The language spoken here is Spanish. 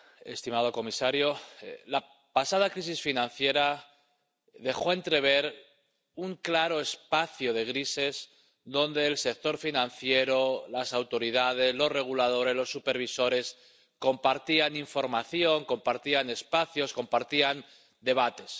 Señora presidenta, señor comisario, la pasada crisis financiera dejó entrever un claro espacio de grises, donde el sector financiero, las autoridades, los reguladores, los supervisores, compartían información, compartían espacios, compartían debates.